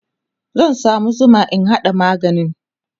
zan samu Zuma in haɗa maganin